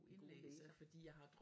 God læser